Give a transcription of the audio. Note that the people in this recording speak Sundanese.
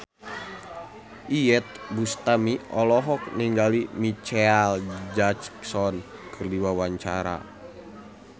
Iyeth Bustami olohok ningali Micheal Jackson keur diwawancara